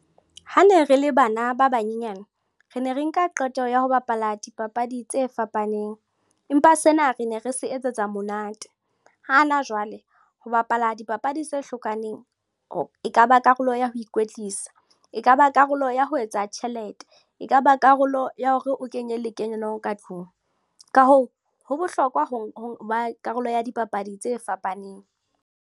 Ha ne re le bana ba banyenyane, re ne re nka qeto ya ho bapala dipapadi tse fapaneng, empa sena re ne re se etsetsa monate. Hana jwale ho bapala dipapadi tse hlokaneng ekaba karolo ya ho ikwetlisa, ekaba karolo ya ho etsa tjhelete, e kaba karolo ya hore o kenye le kenyo ka tlung. Ka hoo, ho bohlokwa ho ba karolo ya dipapadi tse fapaneng.